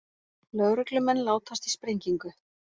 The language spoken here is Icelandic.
Lögreglumenn látast í sprengingu